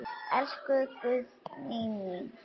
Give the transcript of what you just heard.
Elsku Guðný mín.